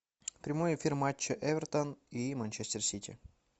прямой эфир матча эвертон и манчестер сити